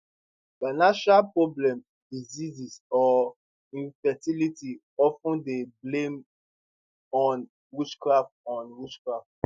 financial problems diseases or infertility of ten dey blamed on witchcraft on witchcraft